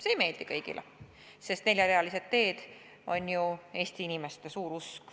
See ei meeldi kõigile, sest neljarealised teed on ju Eesti inimeste suur usk.